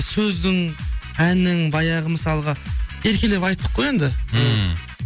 сөздің әннің баяғы мысалға еркелеп айттық қой енді ммм